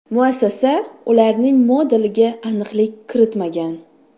Muassasa ularning modeliga aniqlik kiritmagan.